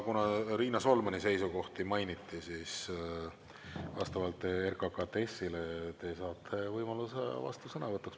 Kuna Riina Solmani seisukohti mainiti, siis vastavalt RKKTS‑ile te saate võimaluse vastusõnavõtuks.